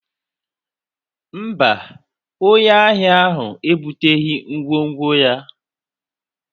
mba, onye ahịa ahụ ebuteghị ngwongwo ya